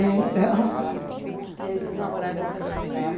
Então... E aí, vocês namoraram há quanto tempo?